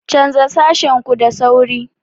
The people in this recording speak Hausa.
Canza sashen ku da sauri!